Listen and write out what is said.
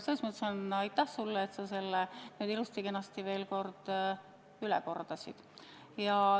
Selles mõttes aitäh sulle, et sa selle ilusti-kenasti veel üle kordasid.